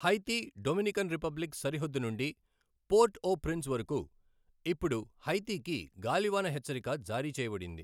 Haiti Dominican Republic సరిహద్దు నుండి port au prince వరకు ఇప్పుడు హైతీకి గాలివాన హెచ్చరిక జారీ చేయబడింది.